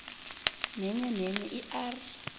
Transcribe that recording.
nenyenenye i r